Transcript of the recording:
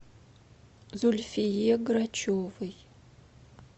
зульфие грачевой